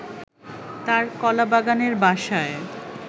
তার কলাবাগানের বাসায়